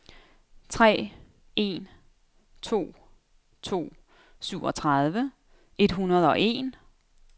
tre en to to syvogtredive et hundrede og en